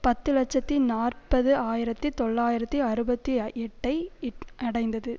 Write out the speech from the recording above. பத்து இலட்சத்தி நாற்பது ஆயிரத்தி தொள்ளாயிரத்து அறுபத்தி எட்டு ஐ அடைந்தது